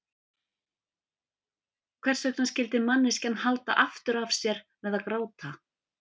Hvers vegna skyldi manneskjan halda aftur af sér með að gráta?